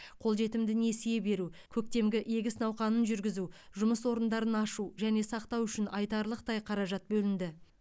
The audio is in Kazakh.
қолжетімді несие беру көктемгі егіс науқанын жүргізу жұмыс орындарын ашу және сақтау үшін айтарлықтай қаражат бөлінді